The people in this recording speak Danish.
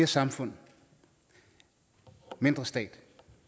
samfund mindre stat